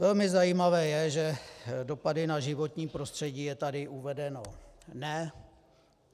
Velmi zajímavé je, že dopady na životní prostředí - je tady uvedeno ne.